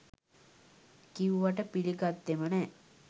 කිව්වට පිලිගත්තෙම නෑ